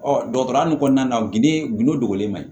Ɔ dɔgɔtɔrɔya nin kɔnɔna na ginde gundolen man ɲi